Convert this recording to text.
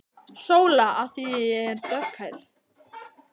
SÓLA: Af því ég er dökkhærð.